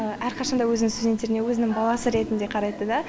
әрқашан да өзінің студенттеріне өзінің баласы ретінде қарайды да